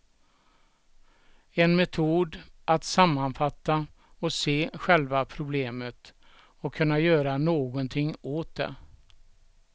En metod att sammanfatta och se själva problemet, och kunna göra någonting åt det.